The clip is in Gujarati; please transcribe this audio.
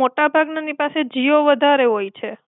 મોટા ભાગ નાં ની પાસે તો જીઓ વધારે હોય છે.